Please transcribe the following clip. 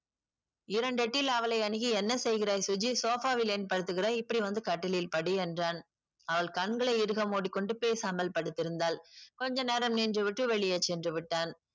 இரண்டெட்டில் அவளை அணுகி என்ன செய்கிறாய் சுஜி sofa ல் ஏன் படுக்கிறாய் இப்டி வந்து கட்டிலில் படு என்றன் அவள் கண்களை இறுக மூடிக்கொண்டு பேசாமல் படுத்திருந்தால் கொஞ்ச நேரம் நின்றுவிட்டு வெளியே சென்று விட்டான்